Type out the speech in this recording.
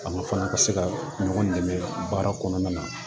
Fanga fana ka se ka ɲɔgɔn dɛmɛ baara kɔnɔna na